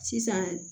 Sisan